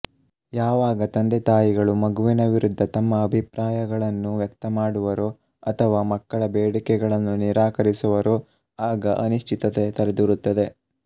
ಯಾವಾಗ ತಂದೆತಾಯಿಗಳು ಮಗುವಿನ ವಿರುದ್ದ ತಮ್ಮ ಅಭಿಪ್ರಾಯಗಳನ್ನು ವ್ಯಕ್ತ ಮಾಡುವರೋ ಅಥವಾ ಮಕ್ಕಳ ಬೇಡಿಕೆಗಳನ್ನು ನಿರಾಕರಿಸುವರೋ ಆಗ ಅನಿಶ್ಚಿತತೆ ತಲೆದೋರುತ್ತದೆ